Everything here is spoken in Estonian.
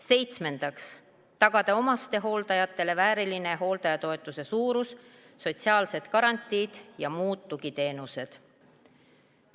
Seitsmendaks, tagada omastehooldajatele vääriline hooldajatoetuse suurus, sotsiaalsed garantiid ja muud tugiteenused.